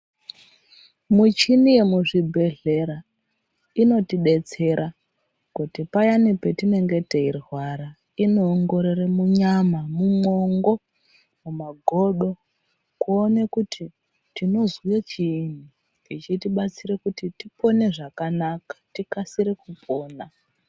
Michini yemuzvibhedhlera inotibetsera kuti payani patinenge teirwara inoongorore munyama, mumongo, mumagodo kuona kuti tinozwe chiini. Zvichitibatsira kuti tipone zvakanaka tikasire kupona.